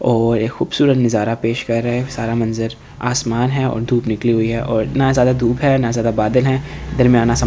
और ये खूबसूरत नजारा पेश कर रहे हैं सारा मंजर आसमान है और धूप निकली हुई है और ना ज्यादा धूप है ना ज्यादा बादल है दरमियाना सा मौसम है।